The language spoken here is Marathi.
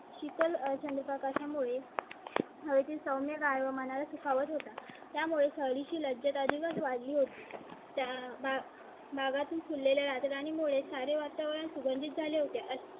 शीतल चंद्रप्रकाश यामुळे हवे ची सौम्य कायम मनाला सुखावत होता. त्यामुळे चाळीशी लज्जत अधिकच वाढली होती. त्या भागातून फुले लागेल आणि मुळे सारे वातावरण सुगंधित झाले होते. अशा